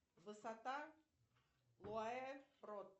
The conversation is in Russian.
высота